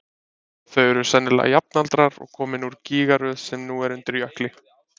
þau eru sennilega jafnaldrar og komin úr gígaröð sem nú er undir jökli